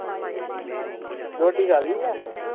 ਅੱਛਾ-ਅੱਛਾ ਰੋਟੀ ਖਾ ਲਈ ਦੀ ਏ।